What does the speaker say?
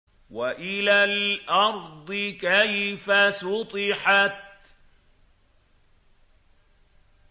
وَإِلَى الْأَرْضِ كَيْفَ سُطِحَتْ